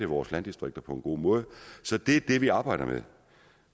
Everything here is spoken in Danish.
vores landdistrikter på en god måde så det er det vi arbejder med